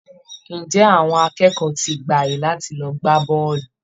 Ǹjẹ́ àwọn akẹ́kọ̀ọ́ ti gba àyè láti lọ gbá bọ́ọ̀lù!